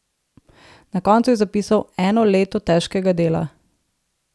Na koncu je zapisal: "Eno leto težkega dela.